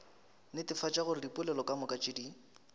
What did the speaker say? netefatša gore dipoelo kamoka tše